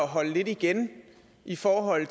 at holde lidt igen i forhold